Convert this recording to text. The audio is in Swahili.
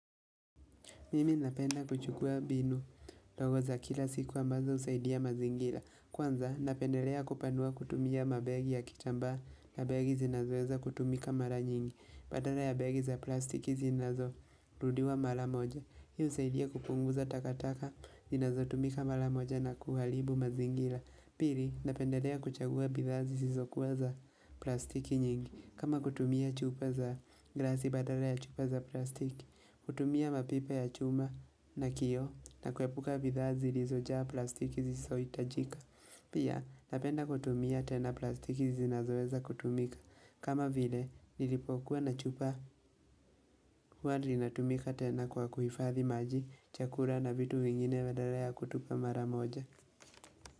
Mimi napenda kuchukua mbinu ndogo za kila siku ambazo husaidia mazingira. Kwanza napendelea kupanua kutumia mabegi ya kitambaa na begi zinazoweza kutumika mara nyingi. Badala ya begi za plastiki zinazorudiwa mara moja. Hii husaidia kupunguza takataka zinazotumika mara moja na kuharibu mazingira. Pili napendelea kuchagua bidhaa zisizokuwa za plastiki nyingi. Kama kutumia chupa za glasi badala ya chupa za plastiki. Kutumia mapipa ya chuma na kioo na kuepuka bidhaa zilizojaa plastiki zisizo hitajika. Pia napenda kutumia tena plastiki zinazoweza kutumika. Kama vile nilipokuwa na chupa huwa linatumika tena kwa kuhifathi maji, chakula na vitu vingine badala ya kutupa mara moja.